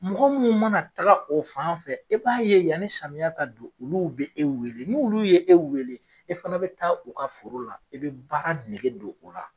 Mɔgɔ minnu mana taga o fan fɛ e b'a ye yanni samiya ka don olu bɛ e weele n'olu ye e weele e fana bɛ taa u ka foro la e bɛ baara nege don u la.